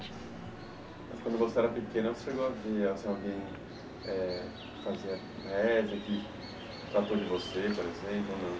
Mas, quando você era pequena, você gosta de ah se alguém eh fazia med, que tratou de você, por exemplo?